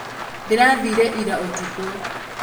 ndĩrathire ira ũtukũ